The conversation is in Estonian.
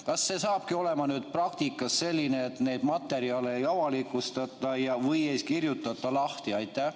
Kas nüüd hakkabki olema praktikas nii, et neid materjale ei avalikustata või ei kirjutata lahti?